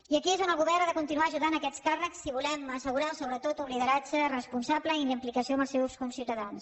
i aquí és on el govern ha de continuar ajudant aquests càrrecs si volem assegurar sobretot un lideratge responsable i amb implicació amb els seus conciutadans